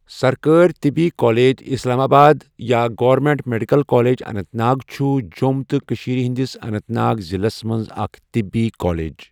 سرکٲرۍ طِبی college Islamabad یا government medical college Anantnag چھُ جۆم تہٕ کٔشیٖر ہٕنٛدِس اَننٛت ناگ ضِلس منٛز اَکھ طِبی کالیٚج.